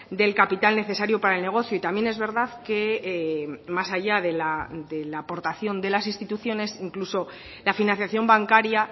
del capital necesario para el negocio y también es verdad que más allá de la aportación de las instituciones incluso la financiación bancaria